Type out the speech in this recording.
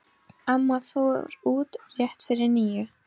Amma fór út rétt fyrir níu.